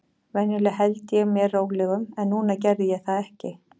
Venjulega held ég mér rólegum, en núna gerði ég það ekki.